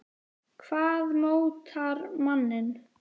Hvað mótar manninn?